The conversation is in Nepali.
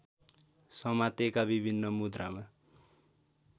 समातेका विभिन्न मुद्रामा